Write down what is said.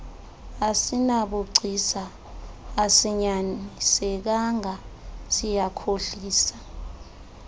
asinabugcisa asinyanisekanga siyakhohlisa